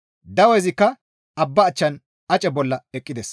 Dawezikka abba achchan ace bolla eqqides.